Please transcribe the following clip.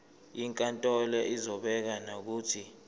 inkantolo izobeka nokuthi